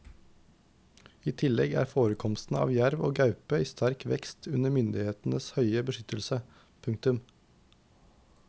I tillegg er forekomstene av jerv og gaupe i sterk vekst under myndighetenes høye beskyttelse. punktum